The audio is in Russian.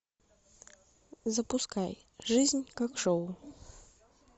запускай жизнь как шоу